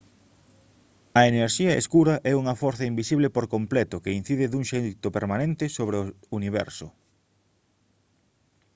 a enerxía escura é unha forza invisible por completo que incide dun xeito permanente sobre o universo